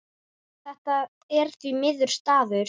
Þetta er því merkur staður.